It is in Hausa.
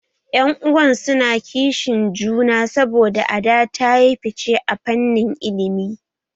Yan uwan su na kishin juna saboda Ada ta yi fice a fannin ilimi